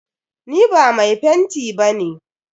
Ni ba mai fenti ba ne.